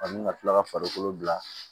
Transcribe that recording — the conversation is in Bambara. A ni ka tila ka farikolo bila